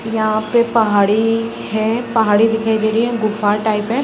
यहाँ पे पहाड़ी है पहाड़ी दिखाई दे रही है गुफा टाइप है।